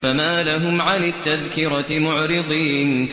فَمَا لَهُمْ عَنِ التَّذْكِرَةِ مُعْرِضِينَ